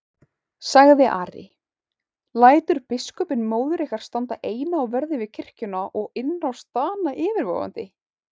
sagði Ari,-lætur biskupinn móður okkar standa eina á verði við kirkjuna og innrás Dana yfirvofandi?